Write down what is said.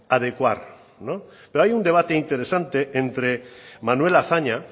adecuar pero hay un debate interesante entre manuel azaña